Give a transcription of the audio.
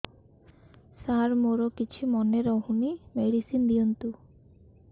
ସାର ମୋର କିଛି ମନେ ରହୁନି ମେଡିସିନ ଦିଅନ୍ତୁ